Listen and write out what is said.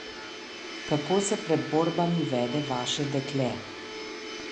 Kako se pred borbami vede vaše dekle?